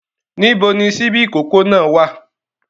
Níbo ni ṣíbí ìkókó náà wá à?